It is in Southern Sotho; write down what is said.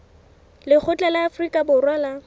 lekgotla la afrika borwa la